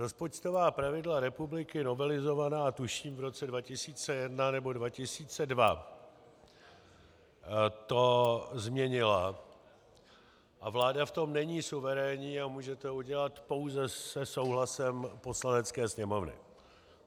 Rozpočtová pravidla republiky novelizovaná tuším v roce 2001 nebo 2002 to změnila a vláda v tom není suverénní a může to udělat pouze se souhlasem Poslanecké sněmovny.